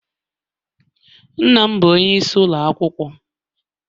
Nna m bụ onyeisi ụlọ akwụkwọ.